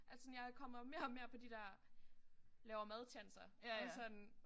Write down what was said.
At sådan jeg kommer mere og mere på de der laver mad tjanser og sådan